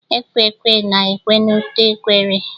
Ekwe ekwe na ekwe n'ute ekwere